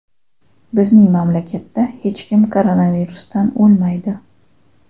Bizning mamlakatda hech kim koronavirusdan o‘lmaydi.